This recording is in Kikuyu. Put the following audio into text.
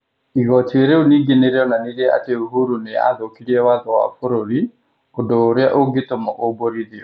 Igooti rĩu ningĩ nĩ rĩonanirie atĩ Uhuru nĩ aathũkirie watho wa bũrũri - ũndũ ũrĩa ũngĩtũma ũmbũrithio.